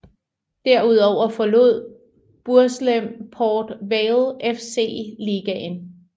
Derudover forlod Burslem Port Vale FC ligaen